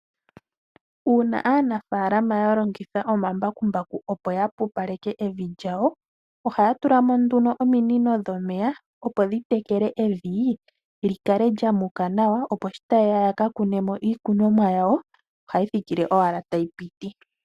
Uuna aanafaalama yalongitha omambakumbaku opo yapupaleke evi lyawo ohaya tula mo nduno ominiko dhomeya opo dhitekele evi lyikale lyamuka nawa opo sho taye ya yaka kune mo iikunomwa yawo ohayi thikile owala tayi piti.